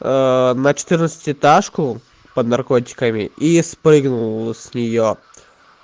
на четырнадцати этажку под наркотиками и спрыгнул с неё